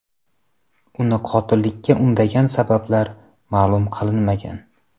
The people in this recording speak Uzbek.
Uni qotillikka undagan sabablar ma’lum qilinmagan.